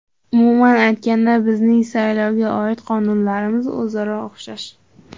Umuman aytganda, bizning saylovga oid qonunlarimiz o‘zaro o‘xshash.